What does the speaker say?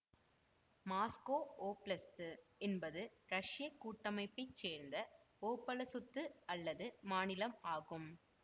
Moscow oblast என்பது இரஷ்யக் கூட்டமைப்பை சேர்ந்த ஓபலசுத்து அல்லது மாநிலம் ஆகும்